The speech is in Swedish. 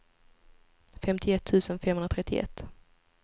femtioett tusen femhundratrettioett